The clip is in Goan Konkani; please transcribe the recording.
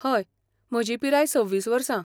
हय, म्हजी पिराय सव्वीस वर्सां